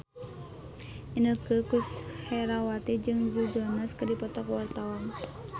Inneke Koesherawati jeung Joe Jonas keur dipoto ku wartawan